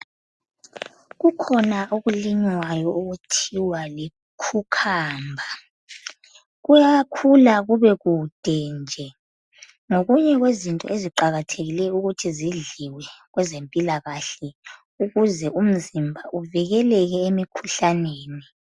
Kukhuna okulinywayo okuthiwa likhukhamba. Kuyakhula kube kude nje ngokunye kwezinto eziqakathekileyo ukuthi zidliwe, kwezempilakahle ukuze umzimba uvikeleke emikhuhlaneni.